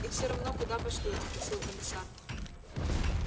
и всё равно куда пошлют спросил комиссар